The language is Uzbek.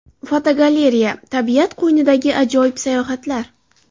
Fotogalereya: Tabiat qo‘ynidagi ajoyib sayohatlar.